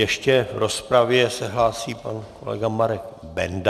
Ještě v rozpravě se hlásí pan kolega Marek Benda.